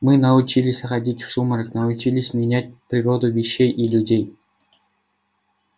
мы научились ходить в сумрак научились менять природу вещей и людей